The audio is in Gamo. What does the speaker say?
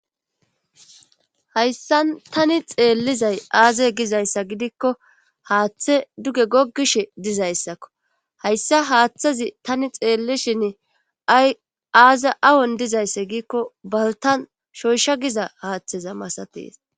Hayssan tani xeellizay aaze gizayssa gidikko haaththe duge gogishshe dizayssakko hayssa haaththezi tani xeellishin aaze awon dizayssa giikko baltan shoyshsha giza haaththeza masatees